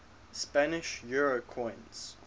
spanish euro coins